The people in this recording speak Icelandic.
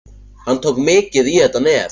Hann tók mikið í þetta nef.